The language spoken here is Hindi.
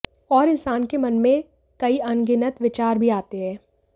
और इंसान के मन में कई अनगिनत विचार भी आते है